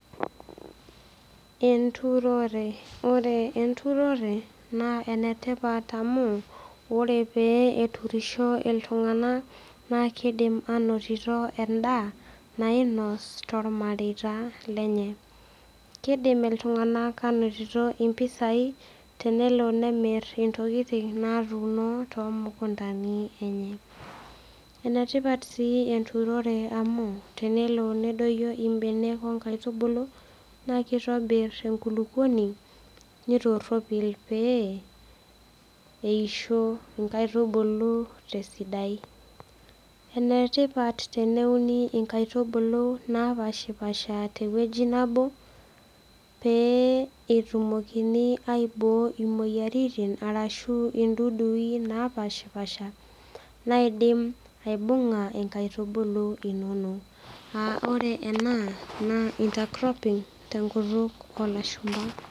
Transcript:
Enturore. Oore enturore, naa enetipat amuu oore pee eturisho iltung'anak, naa keidim anotito en'daa nainos, tormareita lenye. Keidim netum iltung'anak impisai tenelo nemir intokitin natuuno too mukundani eenye. Enetipat sii enturore amuu tenelo nedoyio imbenek onkaitubulu, naa keitobir enkulupuoni naa keitobir pee, eisho inkaitubulu tesidai. Enetipat teneuni inkaitubulu napaashipaasha tewueji nebo pee etumokini aiboo imueyiaritin arashu in'dudui napaashipaasha, naidim aibung'a inkaitubulu inonok. Aah oore eena naa intercropping tenkutuk olashumba.